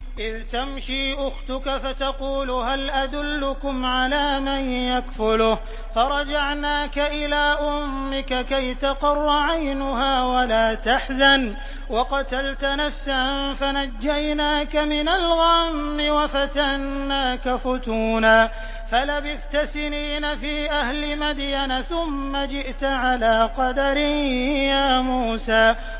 إِذْ تَمْشِي أُخْتُكَ فَتَقُولُ هَلْ أَدُلُّكُمْ عَلَىٰ مَن يَكْفُلُهُ ۖ فَرَجَعْنَاكَ إِلَىٰ أُمِّكَ كَيْ تَقَرَّ عَيْنُهَا وَلَا تَحْزَنَ ۚ وَقَتَلْتَ نَفْسًا فَنَجَّيْنَاكَ مِنَ الْغَمِّ وَفَتَنَّاكَ فُتُونًا ۚ فَلَبِثْتَ سِنِينَ فِي أَهْلِ مَدْيَنَ ثُمَّ جِئْتَ عَلَىٰ قَدَرٍ يَا مُوسَىٰ